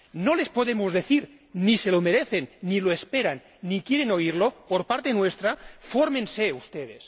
No les podemos decir, ni se lo merecen, ni lo esperan, ni quieren oírlo por parte nuestra ¡fórmense ustedes!,